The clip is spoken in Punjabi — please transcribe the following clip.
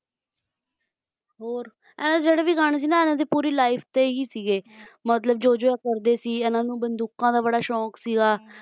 ਹੋਰ ਇਹਦੇ ਜਿਹੜੇ ਵੀ ਗਾਣੇ ਸੀ ਨਾ ਇਨ੍ਹਾਂ ਦੀ life ਤੇ ਹੀ ਸੀਗੇ ਇਨ੍ਹਾਂ ਨੂੰ ਬੰਦੂਕਾਂ ਦਾ ਬੜਾ ਸ਼ੌਂਕ ਸੀਗਾ